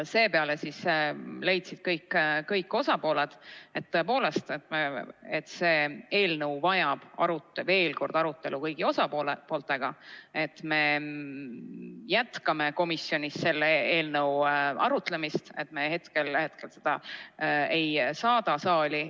Seepeale leidsid kõik osapooled, et tõepoolest see eelnõu vajab veel kord arutelu kõigi osapooltega, et me jätkame komisjonis selle arutamist, et me hetkel seda ei saada saali.